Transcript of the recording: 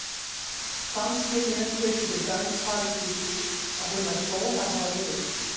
Samskynjun getur til dæmis falist í því að finnast tónar hafa lit.